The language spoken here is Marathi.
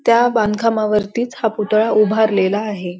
त्या बांधकामावरतीच हा पुतळा उभारलेला आहे.